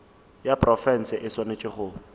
ya profense e swanetše go